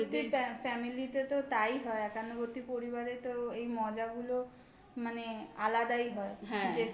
family তে তো তাই হয়. একান্নবর্তী পরিবারে তো এই মজা গুলো মানে আলাদাই হয়